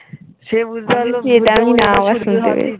সে বুঝতে পারলো